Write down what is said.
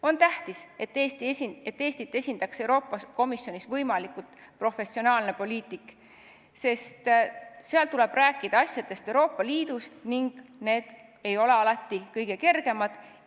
On tähtis, et Eestit esindaks Euroopa Komisjonis võimalikult professionaalne poliitik, sest seal tuleb rääkida asjadest Euroopa Liidus ning need ei ole alati kõige kergemad.